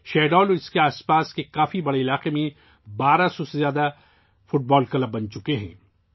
شاہڈول اور اس کے گردونواح میں 1200 سے زائد فٹ بال کلب بن چکے ہیں